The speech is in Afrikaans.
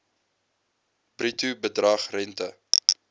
bruto bedrag rente